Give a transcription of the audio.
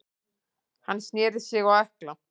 Hann snéri sig á ökkla.